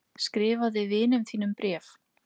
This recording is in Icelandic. Skrifaði vinum þínum bréf.